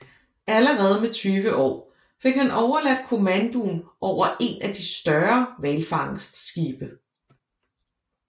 Allerede med 20 år fik han overladt kommandoen over en af de større hvalfangstskibe